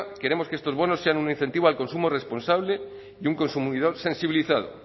queremos que estos bonos sean un incentivo al consumo responsable y un consumidor sensibilizado